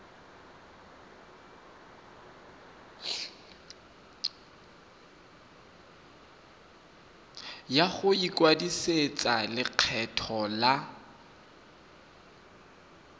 ya go ikwadisetsa lekgetho la